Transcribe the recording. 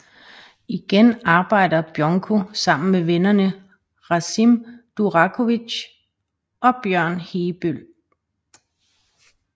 Igen arbejder Bjonko sammen med vennerne Rasim Durakovic og Bjørn Heebøll